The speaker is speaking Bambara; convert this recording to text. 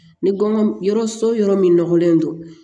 Ni gɔbɔnso yɔrɔ min nɔgɔlen don